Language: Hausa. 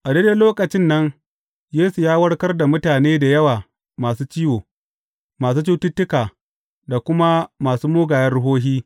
A daidai lokacin nan, Yesu ya warkar da mutane da yawa masu ciwo, masu cututtuka, da kuma masu mugayen ruhohi.